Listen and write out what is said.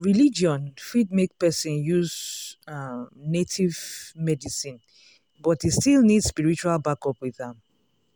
religion fit make person use um native um medicine but e still need spiritual backup with am.